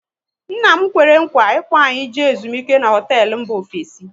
Nna m kwere nkwa ị kpo anyị jee ezumike n'hotelu mba ofesi